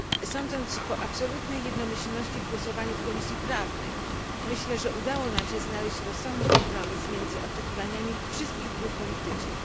Sądzę, że absolutna jednomyślność w głosowaniu w Komisji Prawnej świadczy o tym, że udało nam się znaleźć rozsądny kompromis między oczekiwaniami wszystkich grup politycznych.